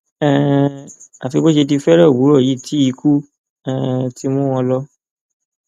um àfi bó ṣe di fẹẹrẹ òwúrọ yìí tí ikú um ti mú wọn lò